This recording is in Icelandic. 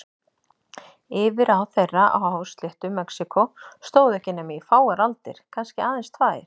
Yfirráð þeirra á hásléttu Mexíkó stóðu ekki nema í fáar aldir, kannski aðeins tvær.